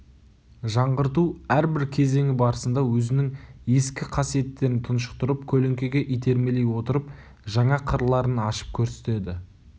жаңғырту әрбір кезеңі барысында өзінің ескі қасиеттерін тұншықтырып көлеңкеге итермелей отырып жаңа қырларын ашып көрсетеді